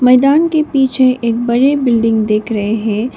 मैदान के पीछे एक बड़े बिल्डिंग दिख रहे है।